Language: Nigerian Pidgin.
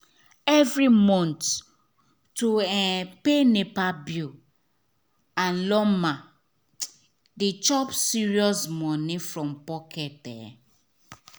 every month to um pay nepa bill and lawma dey chop serious money from pocket. um